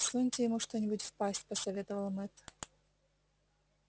всуньте ему что нибудь в пасть посоветовал мэтт